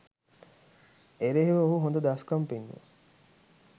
එරෙහිව ඔහු හොඳ දස්කම් පෙන්නුවා.